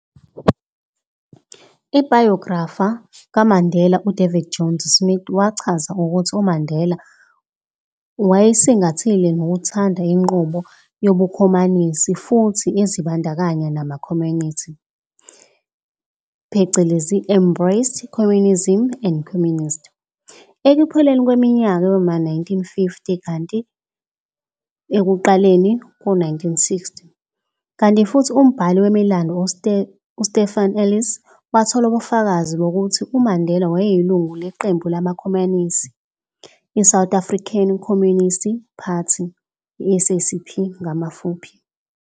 Ibhayografa kaMandela uDavid Jones Smith wachaza ukuthi umandela wayeyisingathile nokuthanda inqubo yobukhomanisi futhi ezibandakanya namakhomanisi, "embraced communism and communists", ekupheleni kweminyaka yoma 1950 kanti ekuqaleni koma 1960, kanti futhi umbhali wemilando uStephen Ellis, wathola ubufakazi bokuthim uMandela wayeyilunga leqembu lamakhomanisi i-South African Communist Party, SACP.